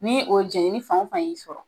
Ni o jɛnini fan o fan y'i sɔrɔ